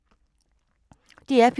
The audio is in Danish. DR P3